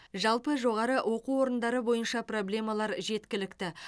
жалпы жоғары оқу орындары бойынша проблемалар жеткілікті